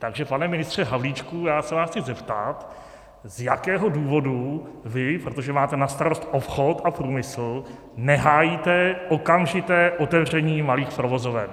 Takže pane ministře Havlíčku, já se vás chci zeptat, z jakého důvodu vy, protože máte na starost obchod a průmysl, nehájíte okamžité otevření malých provozoven.